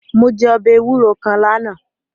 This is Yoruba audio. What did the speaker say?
Mo je ọbẹ ewuro kan lana